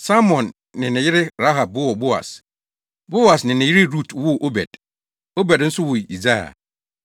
Salmon ne ne yere Rahab woo Boas, Boas ne ne yere Rut woo Obed, Obed nso woo Yisai.